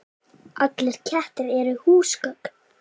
Allir kettir eru húsgögn